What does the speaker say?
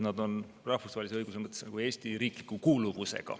Nad kuuluvad rahvusvahelise õiguse mõttes nagu Eesti riiki.